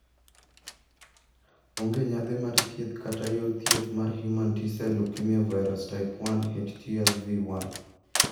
Onge yadhe mar thieth kata yor thieth mar human T sel leukemia virus, type 1 (HTLV 1).